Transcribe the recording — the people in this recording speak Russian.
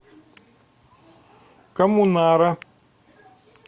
коммунара